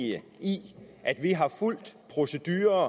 i at vi har fulgt procedurer